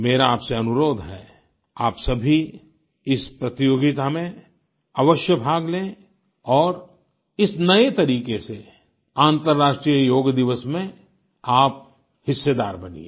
मेरा आपसे अनुरोध है आप सभी इस प्रतियोगिता में अवश्य भाग लें और इस नए तरीके से अन्तर्राष्ट्रीय योग दिवस में आप हिस्सेदार बनिए